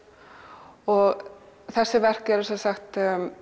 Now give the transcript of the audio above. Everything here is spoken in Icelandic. og þessi verk eru sem sagt